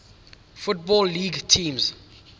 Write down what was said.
football league teams